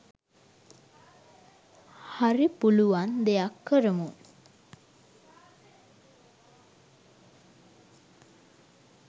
හරි පුලුවන් දෙයක් කරමු